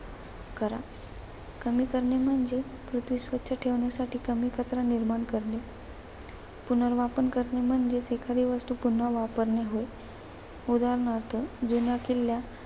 करा. कमी करणे म्हणजे पृथ्वी स्वच्छ ठेवण्यासाठी कमी कचरा निर्माण करणे. पुनर्वापर करणं म्हणजे एखादी वस्तू पुन्हा वापरणे होय. उदाहरणार्थ जेव्हा किल्ला